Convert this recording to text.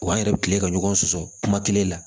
Wa an yɛrɛ bɛ kile ka ɲɔgɔn sɔsɔ kuma kelen la